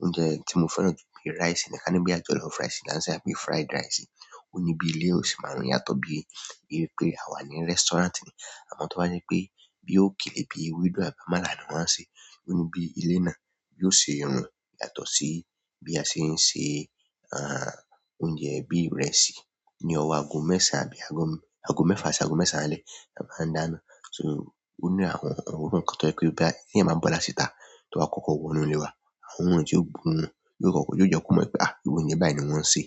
oúnjẹ tí mo fẹ́ràn jù pé rice ni, ká ní bí a jollof rice ni a ń ṣe á pé fried rice. Ó ní bí ilé ó sì máa ń yàtọ̀ bí wi pé àwa ní restaurant ni. Àmọ́ tó bá jẹ́ pé bí ókélé bí ewédú àbí àmàlà ni wọń ṣe, òní bí ilé náà bí ó ṣe ń rùn yàtọ̀ sí bí a ṣe ń ṣe oúnjẹ bí ìrẹsì ní ọwọ́ aago mẹ́ẹ̀sán àbí aago mẹ́fà sí aago mẹ́sàn-án alẹ́ la máa ń dá iná. So òní àwọn ohun kan tó jẹ́ pé bí èèyàn bá ń bọ́ látì ta tó ba kọ́kọ́ wọ inú ilé wa, àwọn òorun tí o gborun yóò kọ́kọ́ yóò jẹ́ kó mọ̀ pé ah irú oúnjẹ báyìí ni wọ́n ń ṣe.